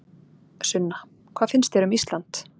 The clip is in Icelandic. Sunna: Hvað finnst þér um Ísland?